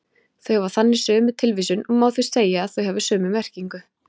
Þau hafa þannig sömu tilvísun og má því segja að þau hafi sömu merkingu.